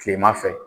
Kilema fɛ